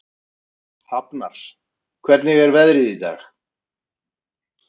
Hafnar, hvernig er veðrið í dag?